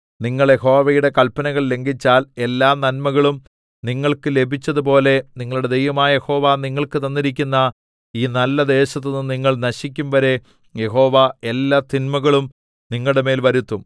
നിങ്ങൾ യഹോവയുടെ കൽപ്പനകൾ ലംഘിച്ചാൽ എല്ലാനന്മകളും നിങ്ങൾക്ക് ലഭിച്ചതുപോലെ നിങ്ങളുടെ ദൈവമായ യഹോവ നിങ്ങൾക്ക് തന്നിരിക്കുന്ന ഈ നല്ലദേശത്തുനിന്ന് നിങ്ങൾ നശിക്കുംവരെ യഹോവ എല്ലാ തിന്മകളും നിങ്ങളുടെമേൽ വരുത്തും